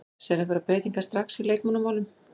Sérðu einhverjar breytingar strax í leikmannamálum?